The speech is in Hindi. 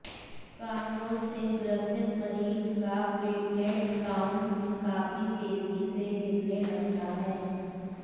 कांगो से ग्रसित मरीज का प्लेटलेट्स काउंट भी काफी तेजी से गिरने लगता है